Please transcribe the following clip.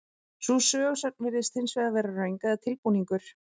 Sú sögusögn virðist hins vegar vera röng eða tilbúningur.